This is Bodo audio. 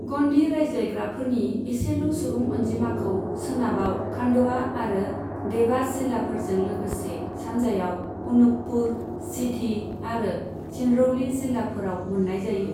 ग'न्डि रायज्लायग्राफोरनि एसेल' सुबुं अनजिमाखौ सोनाबाव खान्डवा आरो देभास जिल्लाफोरजों लोगोसे सानजायाव अनुपपुर, सिधि आरो सिंरौलि जिल्लाफोराव मोननाय जायो।